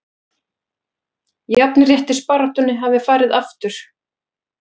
Jafnréttisbaráttunni hafi farið aftur